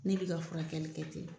Ne b'i ka furakɛli kɛ ten.